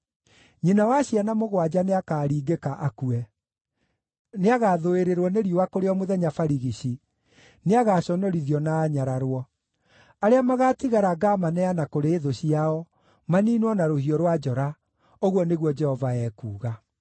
Nyina wa ciana mũgwanja nĩakaringĩka, akue. Nĩagathũĩrĩrwo nĩ riũa kũrĩ o mũthenya barigici; nĩagaconorithio na anyararwo. Arĩa magaatigara ngaamaneana kũrĩ thũ ciao, maniinwo na rũhiũ rwa njora,” ũguo nĩguo Jehova ekuuga.